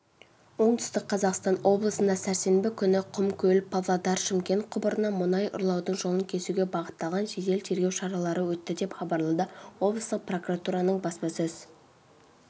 оңтүстік қазақстан облысында сәрсенбі күні құмкөл-павлодар-шымкент құбырынан мұнай ұрлаудың жолын кесуге бағытталған жедел-тергеу шаралары өтті деп хабарлады облыстық прокуратураның баспасөз